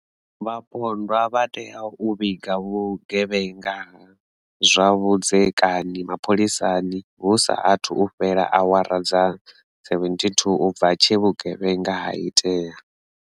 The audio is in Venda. Vhapondwa vha tea u vhiga vhugevhenga ha zwa vhudzekani mapholisani hu sa athu fhela awara dza 72 u bva tshe vhugevhenga ha itea.